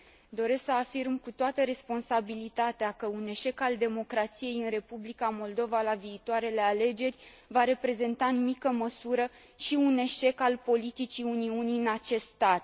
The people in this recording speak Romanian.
Doresc să afirm cu toată responsabilitatea că un eșec al democrației în Republica Moldova la viitoarele alegeri va reprezenta în mică măsură și un eșec al politicii Uniunii în acest stat.